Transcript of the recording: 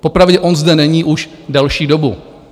Popravdě on zde není už delší dobu.